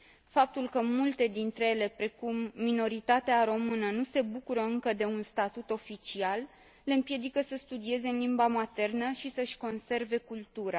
Faptul că multe dintre ele, precum minoritatea română, nu se bucură încă de un statut oficial le împiedică să studieze în limba maternă și să și conserve cultura.